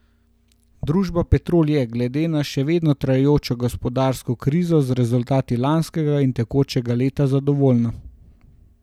Družba Petrol je, glede na še vedno trajajočo gospodarsko krizo, z rezultati lanskega in tekočega leta zadovoljna.